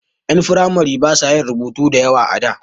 Ƴan firamare ba sa yin rubutu da yawa a da.